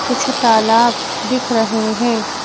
कुछ तालाब दिख रहे हैं।